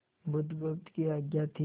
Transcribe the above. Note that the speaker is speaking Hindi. बुधगुप्त की आज्ञा थी